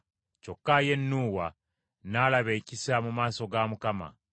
Kyokka ye Nuuwa n’alaba ekisa mu maaso ga Mukama .